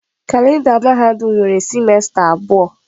Kalenda mahadum nwere sịmesta abụọ.